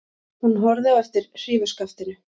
Hún horfði á eftir hrífuskaftinu.